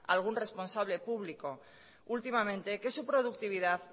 algún responsable público últimamente que su productividad